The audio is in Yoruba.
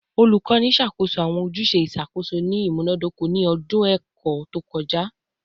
Olukọni ṣakoso awọn ojuse iṣakoso ni imunadoko ni ọdun ẹkọ to kọja